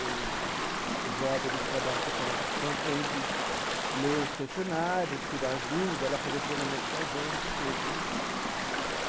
o o job né, o trabalho ficava pronto para a gente ler os questionários, tirar as dúvidas, ela fazia o treinamento com a gente e tudo né.